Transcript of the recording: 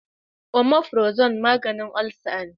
Omafirazol maganin olsa ne